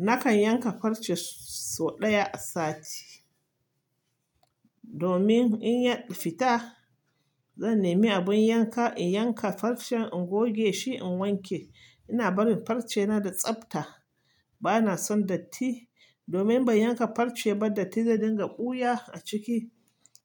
Nakan yanka farce sau ɗaya a sati. Domin in ya fita, zan nemi abin yanka in yanka farcen, in goge shi in wanke. Ina barin farcena da tsafta. Bana son datti domin bai yanka farce ba, datti zai dinga ɓuya a ciki